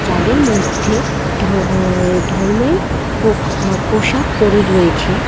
তাদের মধ্যে ধর আ ধর্মের প আ পোশাক পড়ে রয়েছে।